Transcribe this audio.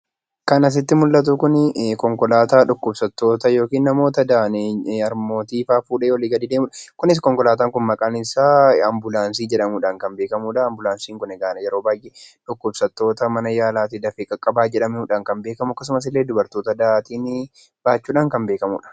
Kan asitti mul'atu kun konkolaataa dhukkubsattoota yookiin namoota dahan harmootii fa'aa kan fudhatee olii gadi joorudha. Kunis konkolaataan kun ambulaansii jedhamuudhaan kan beekamudha. Ambulaansiin kun egaa dhukkubsattoota dafee mana yaalaatiin qaqqabaa jedhamuudhaan kan beekamuu akkasumas illee dubartoota dahan baachuun kan beekamudha.